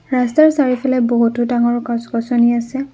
ৰাস্তাৰ চাৰিওফালে বহুতো ডাঙৰ গছ-গছনি আছে।